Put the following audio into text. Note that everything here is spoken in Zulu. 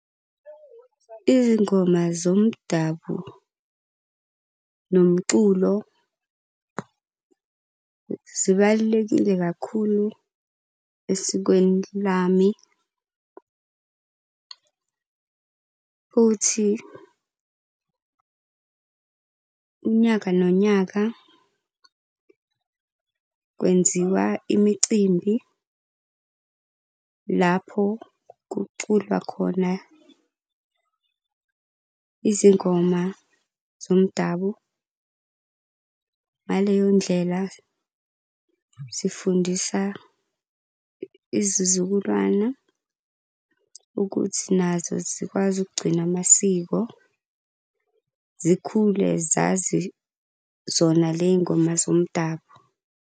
Izingoma zomdabu nomculo zibalulekile kakhulu esikweni lami futhi unyaka nonyaka kwenziwa imicimbi lapho kuculwa khona izingoma zomdabu. Ngaleyo ndlela sifundisa izizukulwana ukuthi nazo zikwazi ukugcina amasiko, zikhule zazi zona ley'ngoma zomdabu.